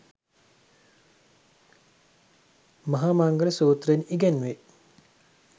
මහා මංගල සූත්‍රයෙන් ඉගැන්වේ.